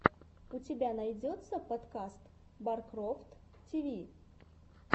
у тебя найдется подкаст баркрофт ти ви